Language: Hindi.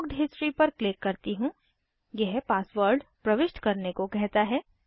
बुक्ड हिस्ट्री पर क्लिक करती हूँ यह पासवर्ड प्रविष्ट करने को कहता है